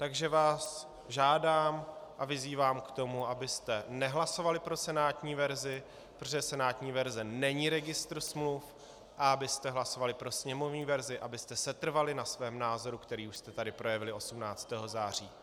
Takže vás žádám a vyzývám k tomu, abyste nehlasovali pro senátní verzi, protože senátní verze není registr smluv, a abyste hlasovali pro sněmovní verzi, abyste setrvali na svém názoru, který už jste tady projevili 18. září.